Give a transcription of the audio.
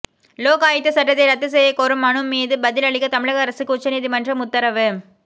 லோக் ஆயுக்த சட்டத்தை ரத்து செய்யக் கோரும் மனு மீது பதில் அளிக்க தமிழக அரசுக்கு உச்சநீதிமன்றம் உத்தரவு